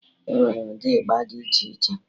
Enwee ụdị ịgba dị iche iche